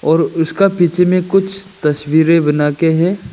और उसका पीछे में कुछ तस्वीरें बना के है।